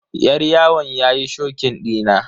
Yar yawon yayi shokin dina.